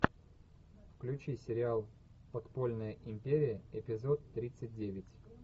включи сериал подпольная империя эпизод тридцать девять